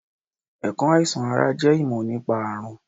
Ẹ̀kọ́ àìsàn ara jẹ́ ìmọ̀ nípa àrùn